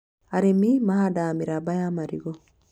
Arĩmi mahandaga mĩramba ya marigũ